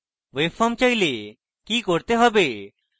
webform চাইলে কি করতে হবে